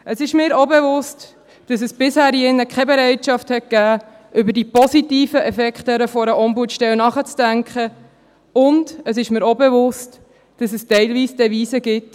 Es ist mir auch bewusst, dass es bisher hier in diesem Saal keine Bereitschaft gab, über die positiven Effekte einer Ombudsstelle nachzudenken, und es ist mir auch bewusst, dass es teilweise die Devise gibt: